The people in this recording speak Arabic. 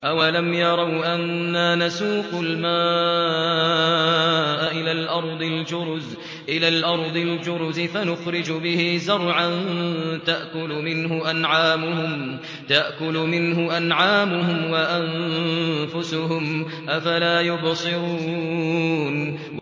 أَوَلَمْ يَرَوْا أَنَّا نَسُوقُ الْمَاءَ إِلَى الْأَرْضِ الْجُرُزِ فَنُخْرِجُ بِهِ زَرْعًا تَأْكُلُ مِنْهُ أَنْعَامُهُمْ وَأَنفُسُهُمْ ۖ أَفَلَا يُبْصِرُونَ